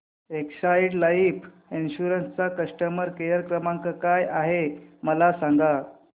Exide life insurance चा customer care क्रमांक काय आहे मला सांगा